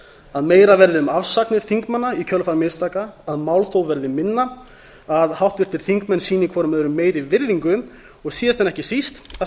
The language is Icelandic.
að meira verði um afsagnir þingmanna í kjölfar mistaka að málþóf verði minna að háttvirtir þingmenn sýni hver öðrum meiri virðingu og síðast en ekki síst að